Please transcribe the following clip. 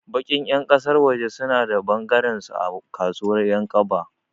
Baƙin ƴan ƙasar waje suna da ɓangarensu a kasuwar Ƴankaba.